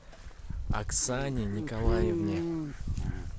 оксане николаевне